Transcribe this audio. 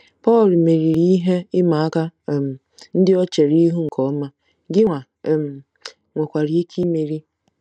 Pọl meriri ihe ịma aka um ndị o chere ihu nke ọma, gịnwa um nwekwara ike imeri.